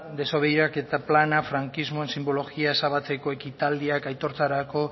plana frankismoen sinbologia ezabatzeko ekitaldiak aitortzarako